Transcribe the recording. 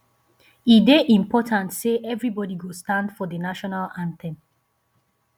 e dey important say everybody go stand for the national anthem